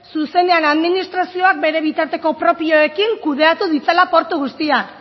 zuzenean administrazioak bere bitarteko propioekin kudeatu ditzala portu guztia